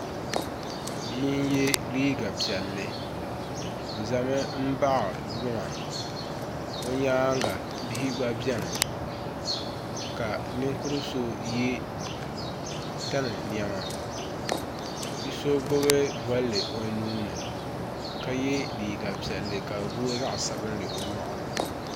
Bia n yiɛ liiga piɛlli o zami n baɣi luŋa o yɛanga bihi gba bɛ ni ka ninkuri so yiɛ tani nɛma bi so gbubi bolli o nuu ni ka yiɛ liiga piɛlli ka di booi zaɣi sabinli o yɔɣuni.